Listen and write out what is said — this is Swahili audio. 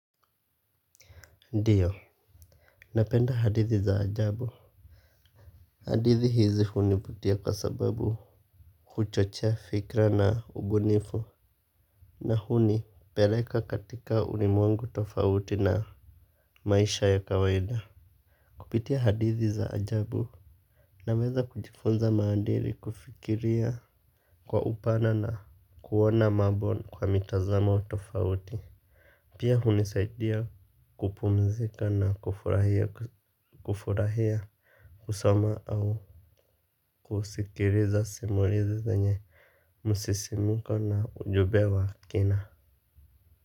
Ndiyo. Napenda hadithi za ajabu. Hadithi hizi hunivutia kwa sababu huchochea fikra na ubunifu. Na hunipeleka katika ulimwengu tofauti na maisha ya kawaida. Kupitia hadithi za ajabu naweza kujifunza maadili kufikiria kwa upana na kuona mambo kwa mitazamo tofauti. Pia hunisaidia kupumzika na kufurahia kufurahia, kusoma au kusikiliza simulizi zenye msisimuko na ujumbe wa kina.